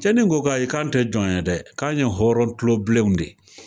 Cɛnni ko k'ayi k'an tɛ jɔn ye dɛ, k'an ye hɔrɔn kulobilenw de ye